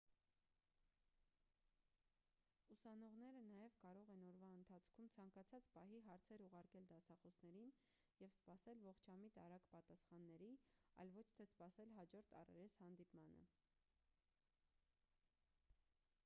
ուսանողները նաև կարող են օրվա ընթացքում ցանկացած պահի հարցեր ուղարկել դասախոսներին և սպասել ողջամիտ արագ պատասխանների այլ ոչ թե սպասել հաջորդ առերես հանդիպմանը